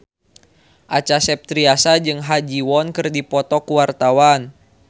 Acha Septriasa jeung Ha Ji Won keur dipoto ku wartawan